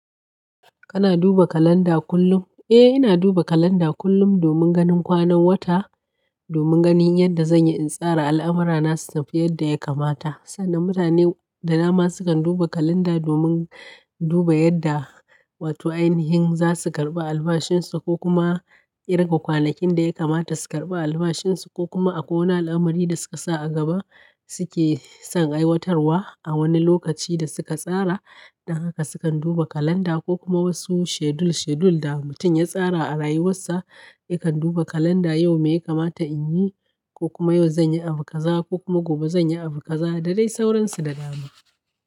Kana duba kalanda kullum? Eh, ina duba kalanda kullum domin ganin kwanan wata, domin ganin yadda zan yi in tsara al'amura na, su tafi yadda ya kamata. Sannan mutane da dama sukan duba kalanda domin duba yadda, wato ainihin za su karɓi albashinsu ko kuma kirga kwanakin da ya kamata su karɓi albashinsu, ko kuma a ko wane al'amari da suka sa a gaba suke son aiwatarwa a wani lokaci da suka tsara. Don haka sukan duba kalanda ko kuma wasu schedule schedule da mutum ya tsara a rayuwarsa yakan duba kalanda yau me ya kamata in yi ko kuma yau zan yi abukaza ko kuma gobe zan yi abukaza da dai sauransu da dama.